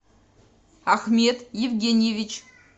ахмед евгеньевич